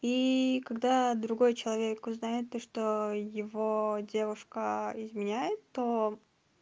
и когда другой человек узнает то что его девушка изменяет то